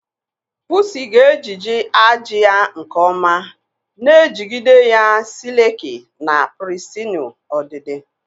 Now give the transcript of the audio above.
pusi ga-ejiji ajị ya nke ọma, na-ejigide ya sileki na pirisitinu ọdịdị.